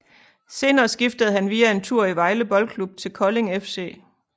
Senere skiftede han via en tur i Vejle Boldklub til Kolding FC